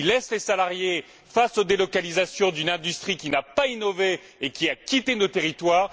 Ils laissent les salariés face aux délocalisations d'une industrie qui n'a pas innové et qui a quitté nos territoires.